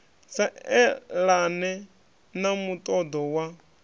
sa elane na muṱoḓo wa